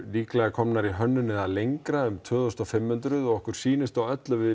líklega komin í hönnun eða lengra tvö þúsund fimm hundruð og okkur sýnist á öllu að við